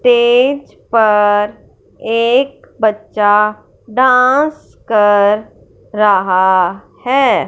Stage पर एक बच्चा डांस कर रहा है।